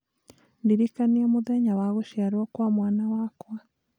ndirikania mũthenya wa gũciarwo kwa mwana wakwa